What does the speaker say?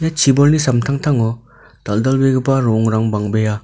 chibolni samtangtango dal·dalbegipa ro·ongrang bang·bea.